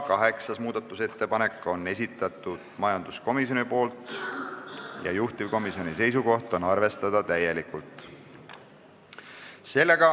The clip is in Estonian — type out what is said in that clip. Kaheksanda muudatusettepaneku on esitanud majanduskomisjon ja juhtivkomisjoni seisukoht on arvestada täielikult.